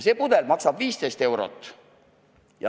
See pudel maksab 15 eurot.